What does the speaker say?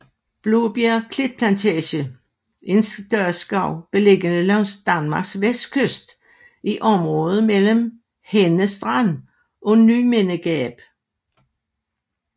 Blåbjerg Klitplantage er en statsskov beliggende langs Danmarks vestkyst i området mellem Henne Strand og Nymindegab